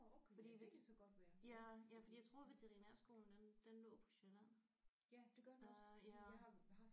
Fordi ja ja fordi jeg tror veterinærskolen den den lå på Sjælland øh ja